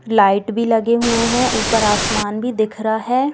Light भी लगे हुएं है ऊपर आसमान भी दिख रहा है।